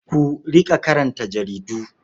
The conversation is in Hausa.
Ku riƙa karanta jaridu.